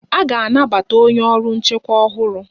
A ga-anabata onye ọrụ nchekwa ọhụrụ.